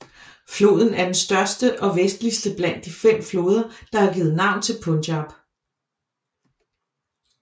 Floden er den største og vestligste blandt de fem floder der har givet navn til Punjab